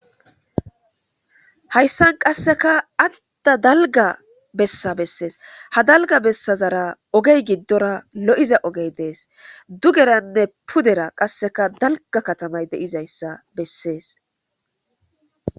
hayssan qasseka adda dalga bessa bessees ha dalga bessa zara ogey giddora lo7iza ogey dees dugeranne pudera qasseka dalga katamay deizayssa bessees